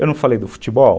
Eu não falei do futebol?